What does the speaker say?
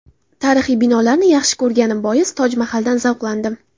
Tarixiy binolarni yaxshi ko‘rganim bois Toj Mahaldan zavqlandim.